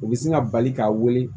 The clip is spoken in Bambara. U bɛ sin ka bali k'a wele